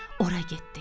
Ora getdi.